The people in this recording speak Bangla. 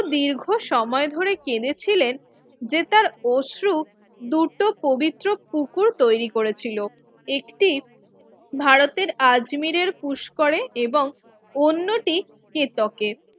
দীর্ঘ সময় ধরে কেঁদেছিলেন যে তার অশ্রু দুটো পবিত্র পুকুর তৈরি করেছিল একটি ভারতের আজমিরের পুস্করে এবং অন্যটি কেতকে